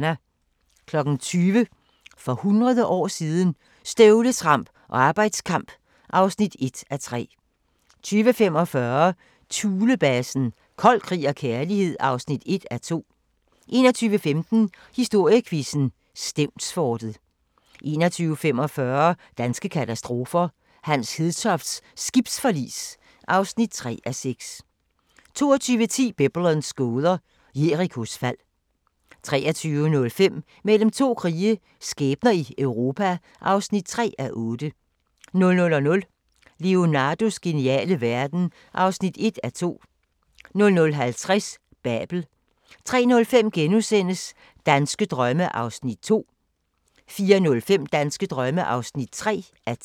20:00: For hundrede år siden – Støvletramp og arbejdskamp (1:3) 20:45: Thulebasen – Kold krig og kærlighed (1:2) 21:15: Historiequizzen: Stevnsfortet 21:45: Danske katastrofer – Hans Hedtofts skibsforlis (3:6) 22:10: Biblens gåder – Jerikos fald 23:05: Mellem to krige – skæbner i Europa (3:8) 00:00: Leonardos geniale verden (1:2) 00:50: Babel 03:05: Danske drømme (2:10)* 04:05: Danske drømme (3:10)